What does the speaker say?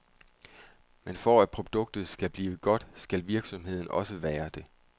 Men for at produktet skal blive godt, skal virksomheden også være det.